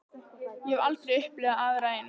Ég hef aldrei upplifað aðra eins ferð.